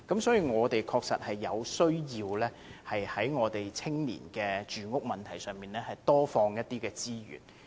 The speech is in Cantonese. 所以，我們確實有需要在青年住屋問題上投放更多資源。